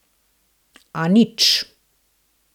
A nič!